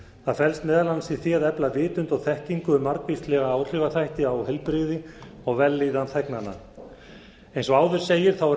það felst meðal annars í því að efla vitund og þekkingu um margvíslega áhrifaþætti á heilbrigði og vellíðan þegnanna eins og áður segir er